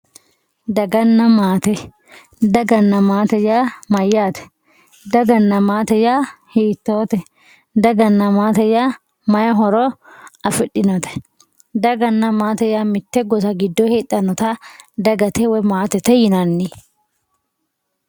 Dagana maate, daganna maate yaa mayyate ,dagana maate yaa hiittote dagana maate yaa mayi horo affidhinote, dagana maate yaa mite gosa giddo heedhanotta dagate woyi maatete yinanni.